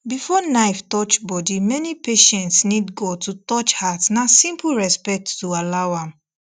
before knife touch body many patients need god to touch heart na simple respect to allow am